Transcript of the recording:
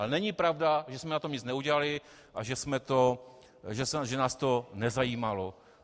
Ale není pravda, že jsme na tom nic neudělali a že nás to nezajímalo.